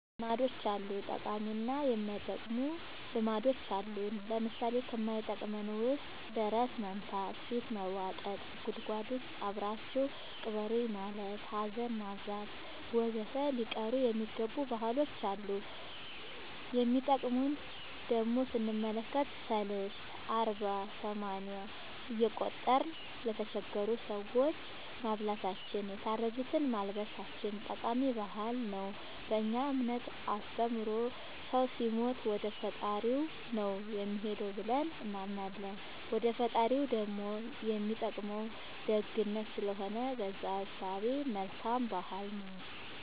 ልማዶች አሉ ጠቃሚ እና የማይጠቅሙ ልማዶች አሉን ለምሳሌ ከማይጠቅመን ውስጥ ደረት መምታ ፊት መቦጠጥ ጉድጎድ ውስጥ አብራችሁኝ ቅበሩኝ ማለት ሀዘን ማብዛት ወዘተ ሊቀሩ የሚገባ ባህሎች አሉ የሚጠቅሙን ደሞ ስንመለከት ሰልስት አርባ ሰማንያ እየቆጠርን ለተቸገሩ ሰዎች ማብላታችን የታረዙትን ማልበሳችን ጠቃሚ ባህል ነው በእኛ እምነት አስተምሮ ሰው ሲሞት ወደፈጣሪው ነው የሚሄደው ብለን እናምናለን ወደ ፈጣሪው ደሞ የሚጠቅመው ደግነት ስለሆነ በእዛ እሳቤ መልካም ባህል ነው